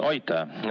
Aitäh!